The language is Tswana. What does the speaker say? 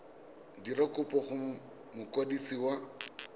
dira kopo go mokwadisi wa